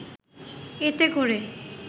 এতে করে